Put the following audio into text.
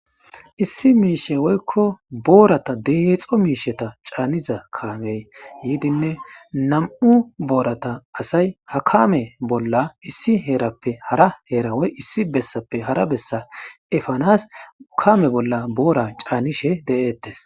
Issi miishe woykko boorata deheexo miisheta caaniza kaamey yiidinne nam'u boorata asay ha kame bolla issi heerappe hara heerawoy issi bessappe hara bessa efanas ukame bolla boora caanishe de7eettes